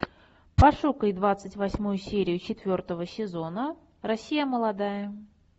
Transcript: пошукай двадцать восьмую серию четвертого сезона россия молодая